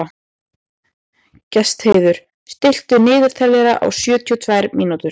Gestheiður, stilltu niðurteljara á sjötíu og tvær mínútur.